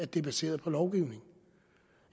det er baseret på lovgivning